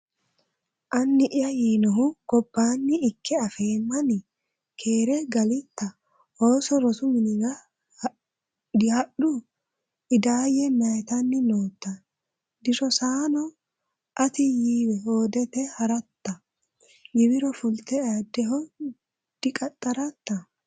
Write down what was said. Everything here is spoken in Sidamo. Anni’ya yiinohu gobbanni ikke afeemmani? Keere galitta? ooso rosu minira dihadhino? Idaayya Mayyitanni nootta? Dirossanno? Atino yiiwa hoodete ha’ratta? Giwiro fulte ayiddeho diqaxxaratta?